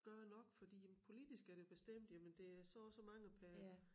Gøre nok fordi jamen politisk er det bestemt jamen det er så og så mange per